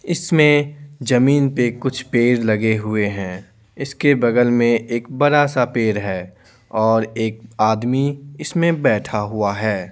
इसमें जमीन पे कुछ पेड़ लगे हुए हैं इसके बगल में एक बड़ा-सा पेड़ है और एक आदमी इसमें बैठा हुआ है।